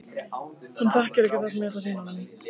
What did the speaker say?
Hann þekkir ekki það sem ég ætla að sýna honum.